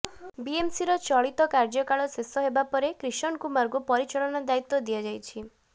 ବିଏମସିର ଚଳିତ କାର୍ଯ୍ୟକାଳ ଶେଷ ହେବା ପରେ କ୍ରିଷନ କୁମାରଙ୍କୁ ପରିଚାଳନା ଦାୟିତ୍ୱ ଦିଆଯାଇଛି